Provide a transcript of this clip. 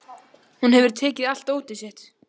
Hún hefur tekið allt dótið sitt.